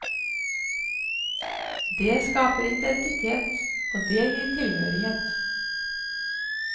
Det skaper identitet og det gir tilhørighet.